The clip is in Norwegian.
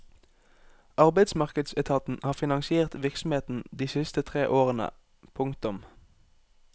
Arbeidsmarkedsetaten har finansiert virksomheten de siste tre årene. punktum